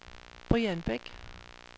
Brian Beck